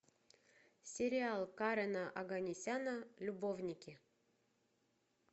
сериал карена оганесяна любовники